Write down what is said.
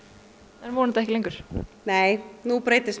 en vonandi ekki lengur nei nú breytist